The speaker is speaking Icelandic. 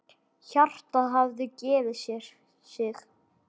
Hjartað hafði gefið sig.